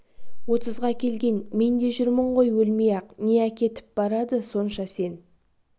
отызға келген мен де жүрмін ғой өлмей-ақ не әкетіп барады сонша сен